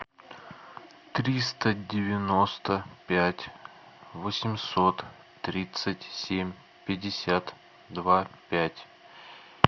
триста девяносто пять восемьсот тридцать семь пятьдесят два пять